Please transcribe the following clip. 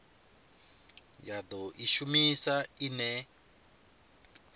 ya do i shumisa ine